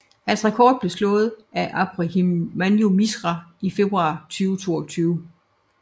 Hans rekord blev slået af Abhimanyu Mishra i februar 2022